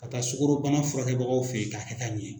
Ka taa sukorodunbana furakɛbagaw fɛ yen ka taa ɲɛ